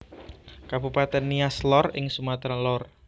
Kabupatèn Nias Lor ing Sumatra Lor